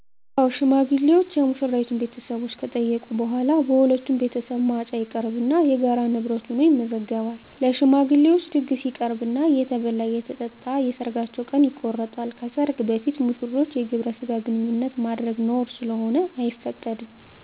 አዎ ሽማግሌዎች የሙሽራይቱን ቤተሰቦች ከጠየቁ በኋላ በሁለቱም ቤተሰብ ማጫ ይቀርብና የጋራ ንብረት ሁኖ ይመዘገባል። ለሽማግሌዎች ድግስ ይቀርብና እየተበላ አየተጠጣ የሰርጋቸው ቀን ይቆረጣል። ከሰርግ በፊት ሙሽሮች የግብረ ስጋ ግንኙነት ማድረግ ነውር ስለሆነ አይፈቀድም።